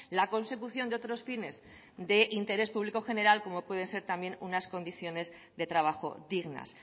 la consecución de otros fines de interés público general como pueden ser unas condiciones de trabajo dignas